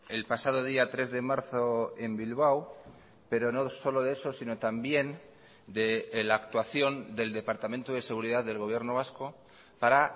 el pasado día tres de marzo en bilbao pero no solo de eso sino también de la actuación del departamento de seguridad del gobierno vasco para